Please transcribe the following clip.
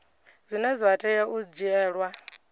zwine zwa tea u dzhielwa